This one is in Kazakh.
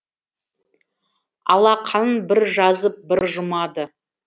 алақанын бір жазып бір жұмады